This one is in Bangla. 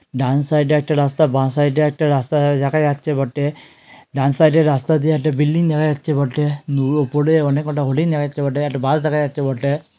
ডান সাইড -এ একটা রাস্তা বা সাইড -এ একটা রাস্তা দে দেখা যাচ্ছে বটে-এ ডান সাইড -এ রাস্তা দিয়ে একটা বিল্ডিং দেখা যাচ্ছে বটে নু উপরে অনেক কটা হোরডিং দেখা যাচ্ছে বটে একটা বাস দেখা যাচ্ছে বটে।